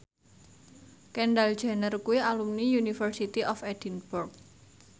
Kendall Jenner kuwi alumni University of Edinburgh